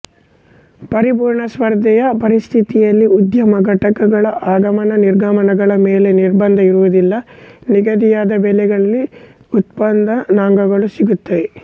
ಪರಿಪೂರ್ಣ ಸ್ಪರ್ಧೆಯ ಪರಿಸ್ಥಿತಿಯಲ್ಲಿ ಉದ್ಯಮ ಘಟಕಗಳ ಆಗಮನನಿರ್ಗಮನಗಳ ಮೇಲೆ ನಿರ್ಬಂಧ ಇರುವುದಿಲ್ಲ ನಿಗದಿಯಾದ ಬೆಲೆಗಳಲ್ಲಿ ಉತ್ಪಾದನಾಂಗಗಳು ಸಿಗುತ್ತವೆ